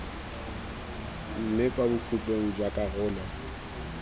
mme kwa bokhutlong jwa karolo